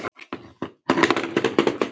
Af hverju sagðir þú upp?